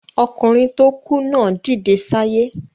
Okùnrin tó kú náà dìde sáyé